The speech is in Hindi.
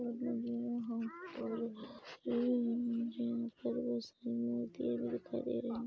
और मुझे यहाँ पर मुझे यहाँ पर बहोत सारी मूर्तियाँ भी दिखाई दे रहे--